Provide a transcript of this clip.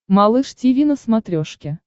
малыш тиви на смотрешке